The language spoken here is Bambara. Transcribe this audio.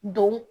Don